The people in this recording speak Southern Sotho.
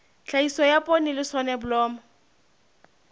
tlhahiso ya poone le soneblomo